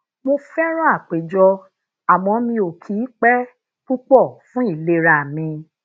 mo féràn àpéjọ àmó mi ò kì í pe pupo fun ìlera mi